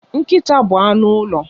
Nkịta bụ anụ ụlọ